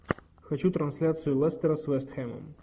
хочу трансляцию лестера с вест хэмом